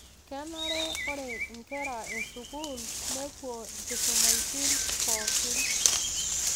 Kenare ore inkera eskuul nepuo inkusumaitin pooki